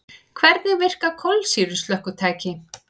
Hvernig virka kolsýru slökkvitæki?